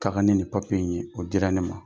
Ka kan ni ninn ni papiye in ye, o dila ne ma.